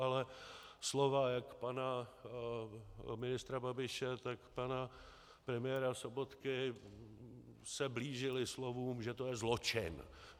Ale slova jak pana ministra Babiše, tak pana premiéra Sobotky se blížila slovům, že je to zločin.